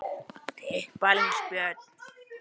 Kjartan segir og mæli hann heill.